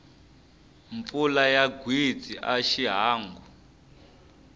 mpfula ya gwitsi a xiangu